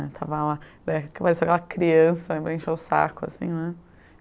estava lá. parecia aquela criança para encher o saco, assim, né?